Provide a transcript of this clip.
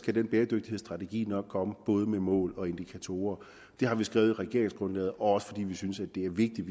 skal den bæredygtighedsstrategi nok komme både med mål og indikatorer det har vi skrevet i regeringsgrundlaget også fordi vi synes det er vigtigt